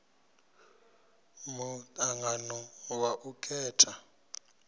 mu angano wa u khetha